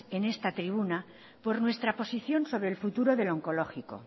en esta tribuna por nuestra posición sobre el futuro del onkologiko